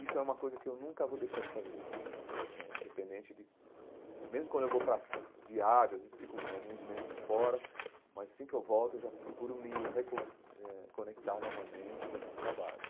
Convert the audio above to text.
Isso é uma coisa que eu nunca vou deixar de fazer, eh independente de... Mesmo quando eu vou para viagens, às vezes fico alguns meses fora, mas, assim que volto, eu já procuro me reco eh conectar novamente com esses trabalhos.